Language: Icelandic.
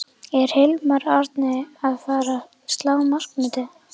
Er Hilmar Árni að fara að slá markametið?